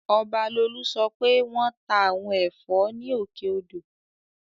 Ọbalolú sọ pé wọ́n ta àwọn ẹ̀fọ́ ní Òkè odò